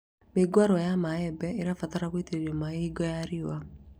Mĩũngũrwa ya mĩembe ĩbataraga gũitĩrĩrio maĩ hingo ya riũa